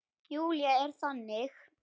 Júlía er þannig.